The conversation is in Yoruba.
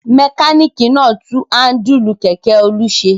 Mẹkáníkì náà tún háńdùlù kẹ̀kẹ́ Olú ṣe.